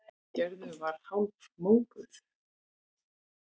Gerður var hálfmóðguð.